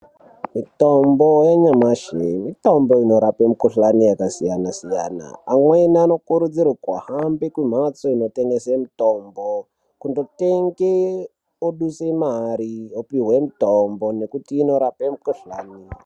Mitombo yenyamashi, mitombo inorape mikuhlane yakasiyana siyana. Amweni anokurudzirwa kuhambe kumhatso inotengese mitombo kunotenge ,odutse mari opihwe mitombo nekuti inorape mikuhlane.